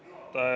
Hea juhataja!